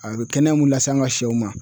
A bɛ kɛnɛya mun lase an ka sɛw ma